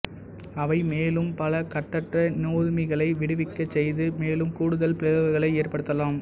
அவை மேலும் பல கட்டற்ற நொதுமிகளை விடுவிக்கச் செய்து மேலும் கூடுதல் பிளவுகளை ஏற்படுத்தலாம்